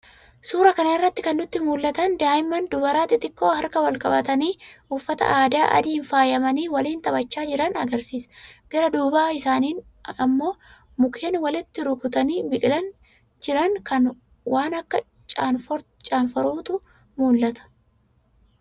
Suuraa kana irraa kan nutti mul'atan, daa'imman dubaraa xixiqqoo harka wal-qabatanii, uffata aadaa adiin faayamanii waliin taphachaa jiran argisiisa. Gara duuba isaaniin ammoo mukeen walitti rukkutanii biqilanii jiran waan akka caanfurootu mul'ata.